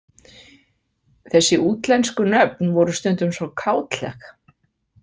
Þessi útlensku nöfn voru stundum svo kátleg.